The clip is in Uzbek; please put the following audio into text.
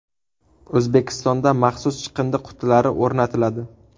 O‘zbekistonda maxsus chiqindi qutilari o‘rnatiladi.